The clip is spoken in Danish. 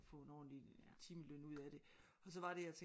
At få en ordentlig timeløn ud af det og så var det jeg tænkte